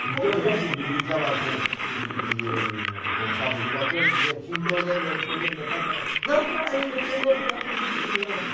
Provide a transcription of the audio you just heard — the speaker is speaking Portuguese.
Como que era? Então a gente bri brincava com de de de com cabo de vassoura, dizia Shindoré, não sei o que, meu pai fala ''não fala isso, isso não é assunto de criança''.